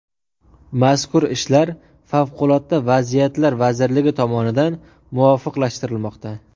Mazkur ishlar Favqulodda vaziyatlar vazirligi tomonidan muvofiqlashtirilmoqda.